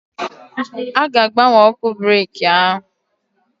A ga-agbanwe ọkụ breki ahụ.